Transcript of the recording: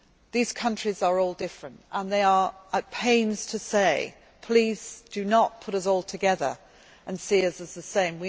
differentiate. These countries are all different and they are at pains to say, Please do not put us all together and see